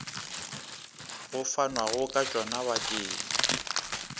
go fanwago ka tšona bakeng